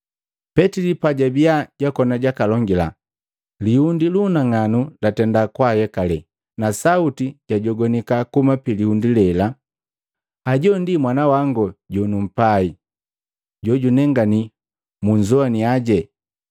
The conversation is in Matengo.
Petili pajabia jwakona jakalongila, lihundi lununang'anu latenda kwaayekale, na sauti jajogwanika kuhuma pilihundi lela, “Hajo Mwana wangu jonumpai, jojunengani, munzowania.”